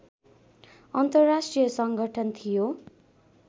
अन्तर्राष्ट्रिय संगठन थियो